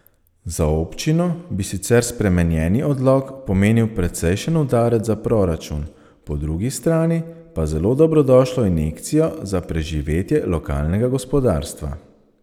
Za občino bi sicer spremenjeni odlok pomenil precejšen udarec za proračun, po drugi strani pa zelo dobrodošlo injekcijo za preživetje lokalnega gospodarstva.